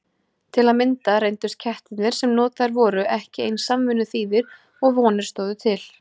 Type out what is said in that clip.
Til að mynda reyndust kettirnir sem notaðir voru ekki eins samvinnuþýðir og vonir stóðu til.